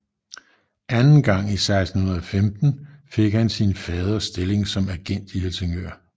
Anden gang i 1614 hvor han fik sin faders stilling som agent i Helsingør